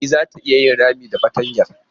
E zata iya yin rami da fartanyar.